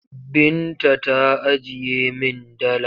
Binta ta ajiye min dala.